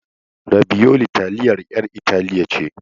Rabiyoli taliyar 'yan Italiya ce.